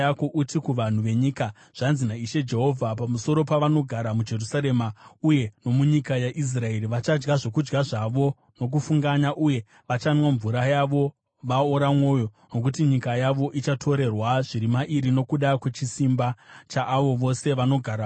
Uti kuvanhu venyika, ‘Zvanzi naIshe Jehovha pamusoro pavanogara muJerusarema uye nomunyika yaIsraeri: Vachadya zvokudya zvavo nokufunganya uye vachanwa mvura yavo vaora mwoyo, nokuti nyika yavo ichatorerwa zviri mairi nokuda kwechisimba chaavo vose vanogaramo.